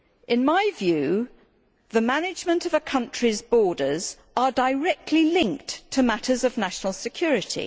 In my view, the management of a country's borders is directly linked to matters of national security.